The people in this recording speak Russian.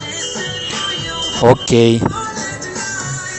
окей